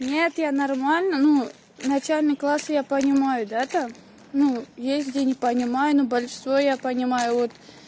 нет я нормально ну начальный класс я понимаю да там ну есть где не понимаю но большинство я понимаю вот